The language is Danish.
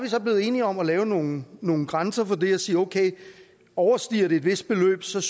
så blevet enige om at lave nogle nogle grænser for det og sige okay overstiger det et vist beløb synes